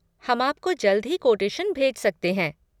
हम आपको जल्द ही कोटेशन भेज सकते हैं।